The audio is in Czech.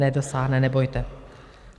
Nedosáhne, nebojte.